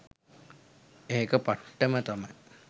ඒක පට්ටම තමයි.